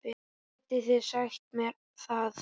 Getið þið sagt mér það?